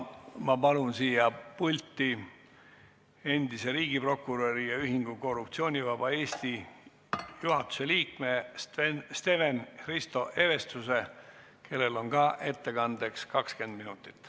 Ma palun siia pulti endise riigiprokuröri ja Ühingu Korruptsioonivaba Eesti juhatuse liikme Steven-Hristo Evestuse, kellel on samuti ettekandeks aega 20 minutit.